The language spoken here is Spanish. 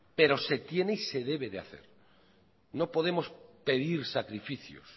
pero se tiene y se debe de hacer no podemos pedir sacrificios